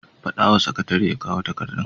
Faɗa wa sakatare ya kawo takardun.